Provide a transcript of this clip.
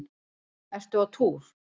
Ertu á túr?